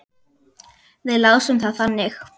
Við lásum það þannig.